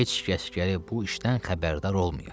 Heç kəs gərək bu işdən xəbərdar olmaya.